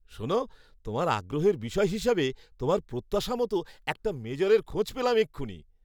শোনো, তোমার আগ্রহের বিষয় হিসাবে তোমার প্রত্যাশা মতো একটা মেজরের খোঁজ পেলাম এক্ষুণি।